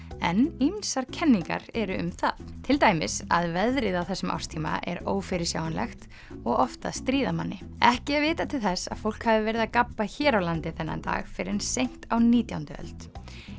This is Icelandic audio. en ýmsar kenningar eru um það til dæmis að veðrið á þessum árstíma er ófyrirsjáanlegt og oft að stríða manni ekki er vitað til þess að fólk hafi verið að gabba hér á landi þennan dag fyrr en seint á nítjándu öld